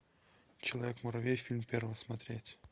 человек муравей фильм первый смотреть